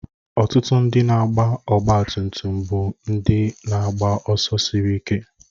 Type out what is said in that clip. Ọtụtụ ndị na-agba ọgbatumtum bụ ndị na-agba ọsọ siri ike